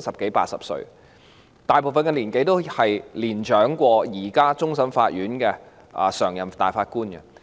十多八十歲，大部分都較現時的終審法院常任法官年長。